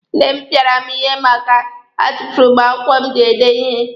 Nne m pịara m ihe maka a tufuru m akwụkwọ m ji ede ihe.